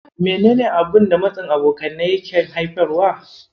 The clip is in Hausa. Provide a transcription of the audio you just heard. Menene abun da matsin abokanai yake haifarwa?